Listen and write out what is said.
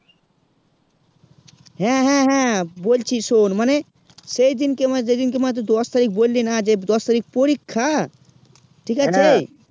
হেঁ হেঁ হেঁ, বলছি শোন মানে সেই দিন কে মানে যেই দিন কে মানে তুই দশ তারিক বললি না যে দশ তারিক পরীক্ষা ঠিক আছে